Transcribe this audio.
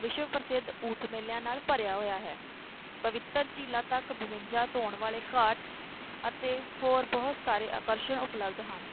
ਵਿਸ਼ਵ ਪ੍ਰਸਿੱਧ ਮੇਲਿਆਂ ਨਾਲ ਭਰਿਆ ਹੋਇਆ ਹੈ, ਪਵਿੱਤਰ ਝੀਲਾਂ ਤੱਕ ਬਵੰਜਾ ਧੌਣ ਵਾਲੇ ਘਾਟ ਅਤੇ ਹੋਰ ਬਹੁਤ ਸਾਰੇ ਆਕਰਸ਼ਣ ਉਪਲਬਧ ਹਨ।